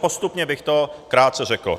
Postupně bych to krátce řekl.